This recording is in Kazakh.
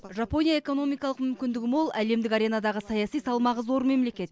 жапония экономикалық мүмкіндігі мол әлемдік аренадағы саяси салмағы зор мемлекет